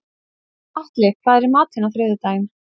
Atli, hvað er í matinn á þriðjudaginn?